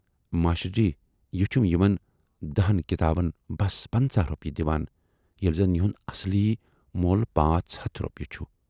master ji یہِ چھُم یِمَن دٔہَن کِتابَن بَس پَنژاہ رۅپیہِ دِوان، ییلہِ زَن یِہُند اَصلی مۅل پانژھ ہَتھ رۅپیہِ چھُ